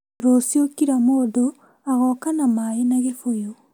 Rũciũ kila mũndũ agoka na maĩ na gĩbũyũ